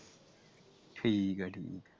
ਠੀਕਾ ਠੀਕਾ ।